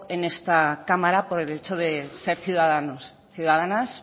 en esta cámara por el hecho de ser ciudadanos ciudadanas